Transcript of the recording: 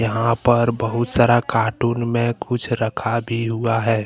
यहाँ पर बहुत सारा कार्टून में कुछ रखा भी हुआ है।